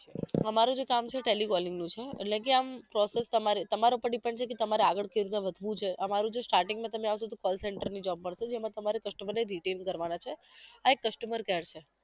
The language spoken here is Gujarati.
અમારે જે કામ છે એ telecalling નું છે એટલે કે આમ એ તમાર તમારા પર depend છે કે તમારે આગળ કેવી રીતના વધવું છે અમારું જે starting નું તમે આવો તો call center ની job મળશે જેમાં તમારે customer ને reattend કરવા ના છે આ એક customer care છે